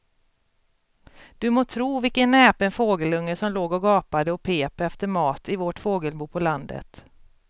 Du må tro vilken näpen fågelunge som låg och gapade och pep efter mat i vårt fågelbo på landet.